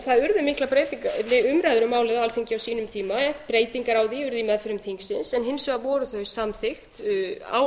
það urðu miklar umræður um málið á alþingi á sínum tíma breytingar á því urðu í meðförum þingsins en hins vegar voru þau samþykkt mótatkvæðalaust í mars